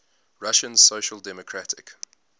russian social democratic